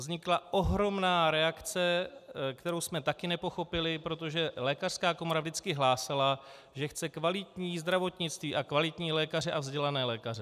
Vznikla ohromná reakce, kterou jsme taky nepochopili, protože lékařská komora vždycky hlásala, že chce kvalitní zdravotnictví a kvalitní lékaře a vzdělané lékaře.